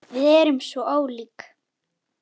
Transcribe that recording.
Við erum svo ólík.